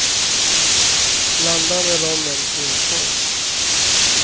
Blanda med rommen i en skål.